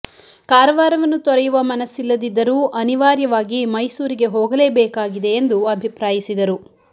ಕಾರವಾರವನ್ನು ತೊರೆಯುವ ಮನಸ್ಸಿಲ್ಲದಿದ್ದರೂ ಅನಿವಾರ್ಯವಾಗಿ ಮೈಸೂರಿಗೆ ಹೋಗಲೇ ಬೇಕಾಗಿದೆ ಎಂದು ಅಭಿಪ್ರಾಯಿಸಿದರು